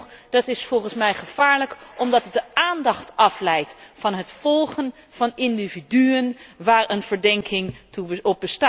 Sterker nog, dat is volgens mij gevaarlijk omdat het de aandacht afleidt van het volgen van individuen op wie een verdenking rust.